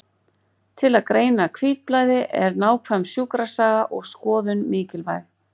Til að greina hvítblæði er nákvæm sjúkrasaga og skoðun mikilvæg.